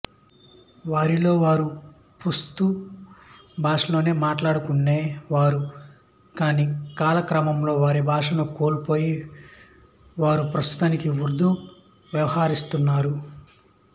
వారిలో వారు పష్తూ భాషలోనే మాట్లాడుకునేవారు కానీ కాలక్రమంలో వారి భాషను వారు కోల్పోయి ప్రస్తుతానికి ఉర్దూలో వ్యవహరిస్తున్నారు